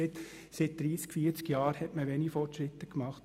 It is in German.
Seit 30 oder 40 Jahren wurden wenige Fortschritte gemacht.